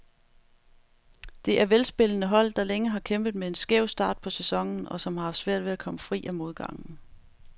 Det er velspillende hold, der længe har kæmpet med en skæv start på sæsonen, og som har haft svært ved at komme fri af modgangen.